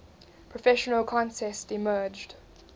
professional contests emerged